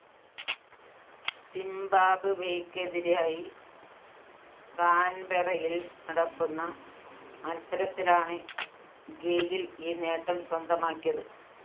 സിംബാബ്‌വേയ്‌ക്കെതിരായി കാന്‍ബെറയില്‍ നടക്കുന്ന മത്സരത്തിലാണ് ഗെയില്‍ ഈ നേട്ടം സ്വന്തമാക്കിയത്